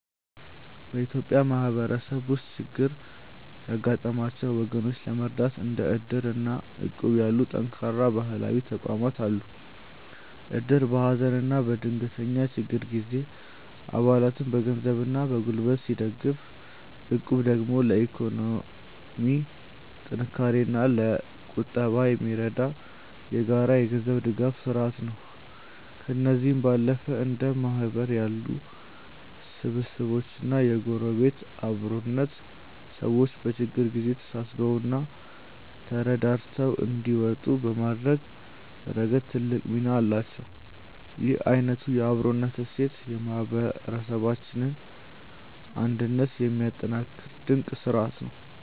በኢትዮጵያ ማህበረሰብ ውስጥ ችግር ያጋጠማቸውን ወገኖች ለመርዳት እንደ እድር እና እቁብ ያሉ ጠንካራ ባህላዊ ተቋማት አሉ። እድር በሀዘንና በድንገተኛ ችግር ጊዜ አባላትን በገንዘብና በጉልበት ሲደግፍ፣ እቁብ ደግሞ ለኢኮኖሚ ጥንካሬና ለቁጠባ የሚረዳ የጋራ የገንዘብ ድጋፍ ስርአት ነው። ከእነዚህም ባለፈ እንደ ማህበር ያሉ ስብስቦችና የጎረቤት አብሮነት፣ ሰዎች በችግር ጊዜ ተሳስበውና ተረዳድተው እንዲወጡ በማድረግ ረገድ ትልቅ ሚና አላቸው። ይህ አይነቱ የአብሮነት እሴት የማህበረሰባችንን አንድነት የሚያጠናክር ድንቅ ስርአት ነው።